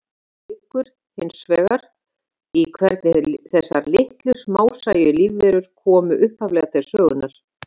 Ráðgátan liggur hins vegar í hvernig þessar litlu, smásæju lífverur komu upphaflega til sögunnar.